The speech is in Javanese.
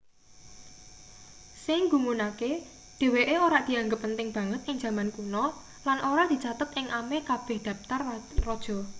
sing nggumunake dheweke ora dianggep penting banget ing jaman kuno lan ora dicathet ing ameh kabeh daptar raja